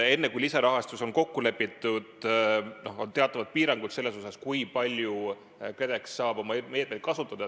Enne kui lisarahastus on kokku lepitud, on teatavad piirangud selles, kui palju KredEx saab oma meetmeid kasutada.